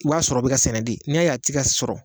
I b'a sɔrɔ o bi ka sɛnɛ de, n'i y'a ye a tika sɔrɔ